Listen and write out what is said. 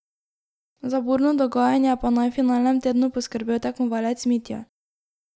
Za burno dogajanje pa naj v finalnem tednu poskrbel tekmovalec Mitja.